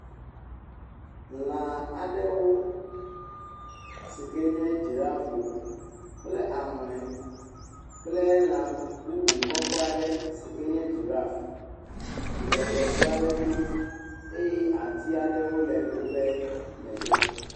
Lã aɖewo sike nye dzirafwo kple ahlɔe kple lã bubu kɔkɔe aɖe si ke nye dziraf le tɔŋu aɖe to eye ati aɖewo le woƒe megbe.